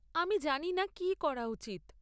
আমি জানি না কী করা উচিত।